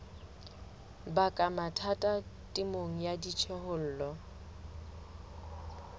baka mathata temong ya dijothollo